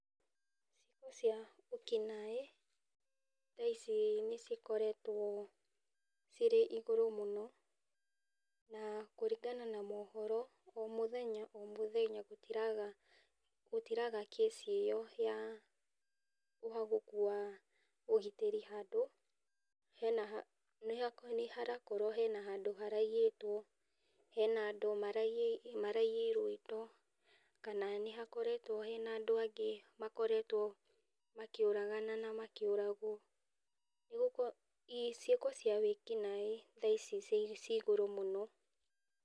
Ciĩko cia wĩkinaĩ thaa ici nĩci koretwo cirĩ igũrũ mũno na kũringana na mohoro o mũthenya o mũthenya gũtiraga case ĩyo ya ũhagũku ũgitĩri handũ, nĩ harakorwo hena handũ haraiyĩtwo, hena handũ andũ maraiyĩirwo indo kana nĩhakoretwo hena andũ angĩ makoretwo makĩũragana na makĩũragwo, ciĩko cia wĩkinaĩ thaa ici ciĩ igũrũ mũno.